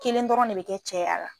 Kelen dɔrɔn ne be kɛ cɛ y'a la